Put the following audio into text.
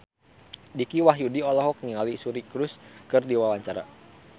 Dicky Wahyudi olohok ningali Suri Cruise keur diwawancara